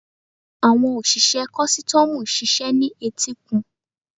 Àwọn òṣìṣẹ́ kọ́stọ́mù ń ṣiṣẹ́ ní etíkun.